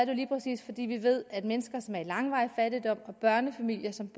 jo lige præcis fordi vi ved at mennesker som lever i langvarig fattigdom og børnefamilier som